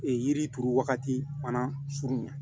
Ee yiri turu wagati fana furu na